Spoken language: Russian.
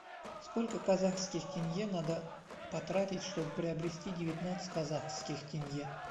сколько казахских тенге надо потратить чтобы приобрести девятнадцать казахских тенге